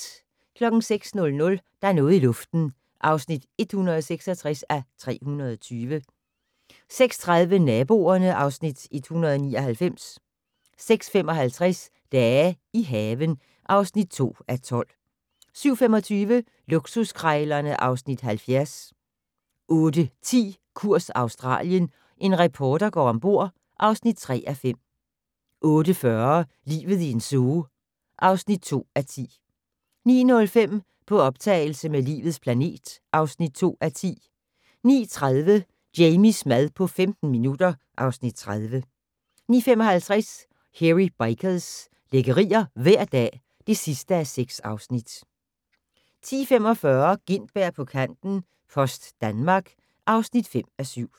06:00: Der er noget i luften (166:320) 06:30: Naboerne (Afs. 199) 06:55: Dage i haven (2:12) 07:25: Luksuskrejlerne (Afs. 70) 08:10: Kurs Australien - en reporter går ombord (3:5) 08:40: Livet i en zoo (2:10) 09:05: På optagelse med "Livets planet" (2:10) 09:30: Jamies mad på 15 minutter (Afs. 30) 09:55: Hairy Bikers - lækkerier hver dag (6:6) 10:45: Gintberg på kanten - Post Danmark (5:7)